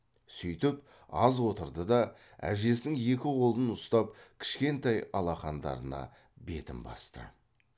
сүйтіп аз отырды да әжесінің екі қолын ұстап кішкентай алақандарына бетін басты